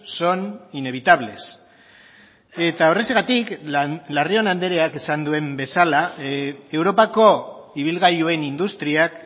son inevitables eta horrexegatik larrión andreak esan duen bezala europako ibilgailuen industriak